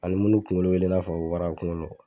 Ani mun kunkolo bɛ i n'a fɔ wara kunkolo la